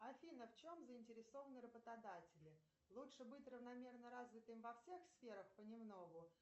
афина в чем заинтересованы работодатели лучше быть равномерно развитым во всех сферах понемногу